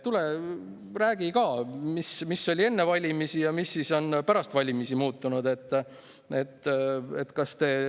Tule räägi ka, mis oli enne valimisi ja mis on pärast valimisi muutunud.